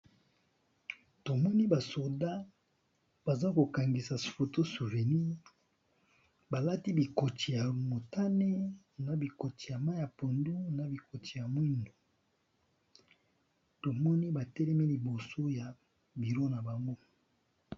tomoni basoda baza kokangisa photo-souveni balati bikoti ya motane na bikoti ya mai ya pondu na bikoti ya mwindu tomoni batelemi liboso ya biro na bango